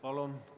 Palun!